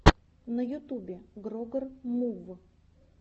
на ютубе грогер мув